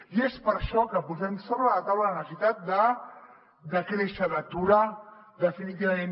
i és per això que posem sobre la taula la necessitat de decréixer d’aturar definitivament